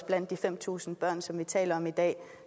blandt de fem tusind børn som vi taler om i dag